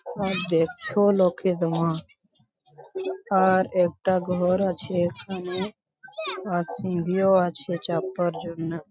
আর দেখছো লোকে দমা আর একটা ঘর আছে এখানে আর সিঁড়িও আছে চাপবার জন্য ।